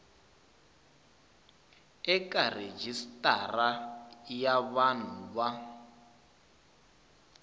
eka rejistara ya vanhu va